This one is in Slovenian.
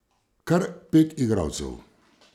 Kar pet igralcev.